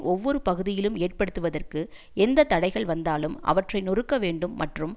ஒவ்வொரு பகுதியிலும் ஏற்படுத்துவதற்கு எந்த தடைகள் வந்தாலும் அவற்றை நொறுக்கவேண்டும் மற்றும்